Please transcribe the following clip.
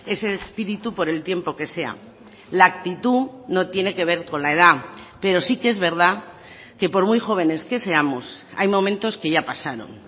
ese espíritu por el tiempo que sea la actitud no tiene que ver con la edad pero sí que es verdad que por muy jóvenes que seamos hay momentos que ya pasaron